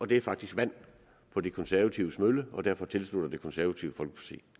det er faktisk vand på de konservatives mølle og derfor tilslutter det konservative folkeparti